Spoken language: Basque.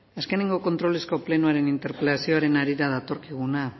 azkeneko kontrolezko plenoaren interpelazioaren harira datorkiguna